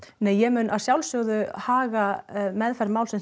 nei ég mun að sjálfsögðu haga meðferð málsins